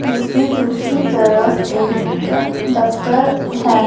जिसकी दूसरी तरफ एक दफ्तर है।